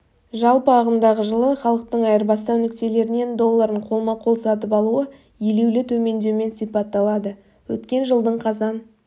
жалпы ағымдағы жылы халықтың айырбастау нүктелерінен долларын қолма-қол сатып алуы елеулі төмендеумен сипатталады өткен жылдың қазан